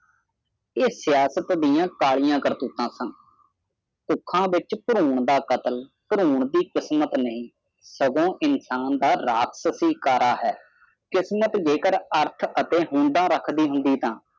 ਇਹ ਸਿਆਸਤ ਦੀਆ ਕਾਲੀਆਂ ਕਰਤੂਤਾਂ ਸਨ ਸਿੱਖਾਂ ਵਿਚ ਦਾਰੁਨ ਦਾ ਕਾਤਲ ਦਾਰੁਨ ਦੀ ਕਿਸਮਤ ਨਹੀਂ ਸਗੋਂ ਇਨਸਾਨ ਦਾ ਰਾਤਸੀ ਸਾਰਾ ਹੈ ਕਿਸਮਤ ਜੇਕਰ ਅਰਥ ਅਤੇ ਹੁੰਦਾ ਰਹਾਕਦੀ ਹੁੰਦੀ ਤਾ